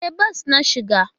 E, bas na shiga.